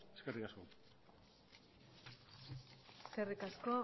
eskerrik asko eskerrik asko